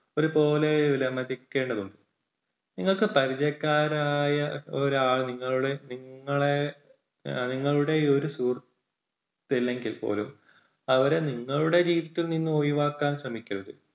നിങ്ങൾക്ക് പരിചയക്കാരായ ഒരാൾ നിങ്ങളുടെ നിങ്ങളെ നിങ്ങളുടെ ഒരു സുഹൃത്ത് അല്ലെങ്കിൽ പോലും അവരെ നിങ്ങളുടെ ജീവിതത്തിൽ നിന്ന് ഒഴിവാക്കാൻ ശ്രമിക്കരുത്.